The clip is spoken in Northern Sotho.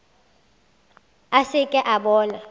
a se ke a bona